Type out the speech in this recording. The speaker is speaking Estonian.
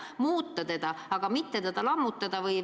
Seda on vaja muuta, aga mitte lammutada.